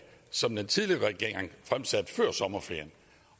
som den tidligere regering fremsatte før sommerferien